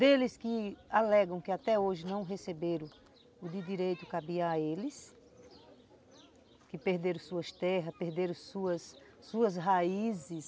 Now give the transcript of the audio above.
Deles que alegam que até hoje não receberam o que de direito cabia a eles, que perderam suas terras, perderam suas raízes.